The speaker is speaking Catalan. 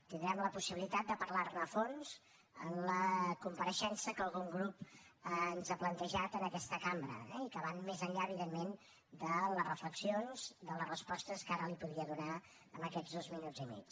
tindrem la possibilitat de parlar ne a fons en la compareixença que algun grup ens ha plantejat en aquesta cambra eh i que anirà més enllà evidentment de les reflexions de les respostes que ara li podria donar en aquests dos minuts i mig